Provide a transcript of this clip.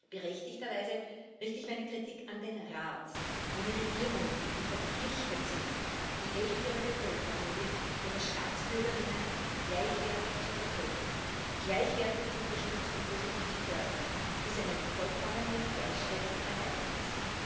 Berechtigterweise richte ich meine Kritik an den Rat, an die Regierungen, die verpflichtet sind, die Hälfte ihrer Bevölkerung, nämlich ihre Staatsbürgerinnen, gleichwertig zu vertreten, gleichwertig zu unterstützen und positiv zu fördern, bis eine vollkommene Gleichstellung erreicht ist.